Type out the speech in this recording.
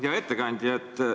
Hea ettekandja!